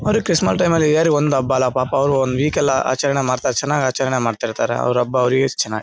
ಅವ್ರಿಗ್ Christmas time ಒಂದ್ ಹಬ್ಬ ಅಲ್ಲಾ ಪಾಪ ಅವ್ರು ಒಂದ್ ವೀಕ್ ಎಲ್ಲಾ ಆಚರಣೆ ಮಾಡ್ತಾರೆ ಚನಾಗ್ ಆಚರಣೆ ಮಾಡ್ತಾ ಇರ್ತಾರೇ ಅವ್ರ್ ಹಬ್ಬ ಅವ್ರಿಗೆ --